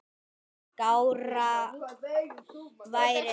Skárra væri það.